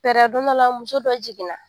Fɛɛrɛ don dɔ la muso dɔ jiginna